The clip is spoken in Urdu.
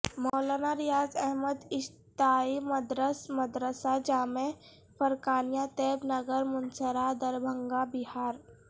مولانا ریاض احمد اشاعتی مدرس مدرسہ جامعہ فرقانیہ طیب نگر منسرا دربھنگہ بہار